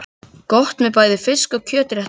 Gott með bæði fisk- og kjötréttum.